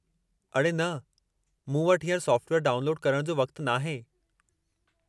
अड़े न, मूं वटि हींअर सॉफ़्टवेयरु डाउनलोडु करणु जो वक़्तु नाहे।